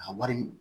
A wari